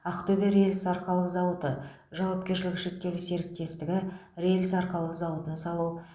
ақтөбе рельс арқалық зауыты жауапкершілігі шектеулі серіктестігі рельс арқалық зауытын салу